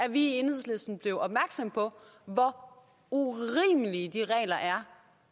at vi i enhedslisten blev opmærksom på hvor urimelige de regler er